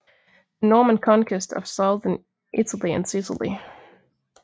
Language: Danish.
The Norman Conquest of Southern Italy and Sicily